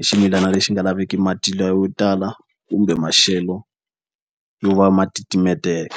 i ximilana lexi nga laveki mati la yo tala kumbe maxelo yo va ma titimetela.